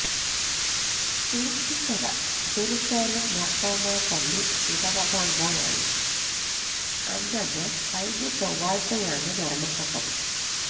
Thuruthikkara Jerusalem Marthoma പള്ളി ഇടവകാംഗമായ അന്നമ്മ കഴിഞ്ഞ ചൊവ്വാഴ്ചയാണ് മരണപ്പെട്ടത്